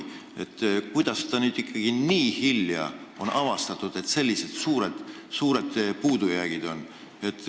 Ma ei saa aru, kuidas nüüd ikkagi nii hilja avastati, et sellised suured puudujäägid on.